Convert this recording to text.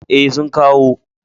E, sun kawo.